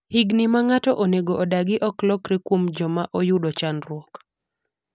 higni ma ng'ato onego odagi ok lokre kuom joma oyudo chandruok